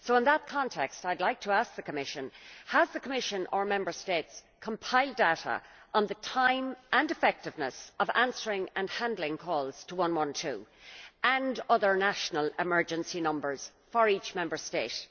In that context I would like to ask the Commission have the Commission or Member States compiled data on the time and effectiveness of answering and handling calls to 112 and other national emergency numbers for each Member State?